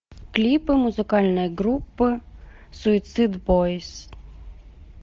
клипы музыкальной группы суицид бойс